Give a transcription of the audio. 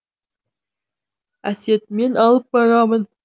әсет мен алып барамын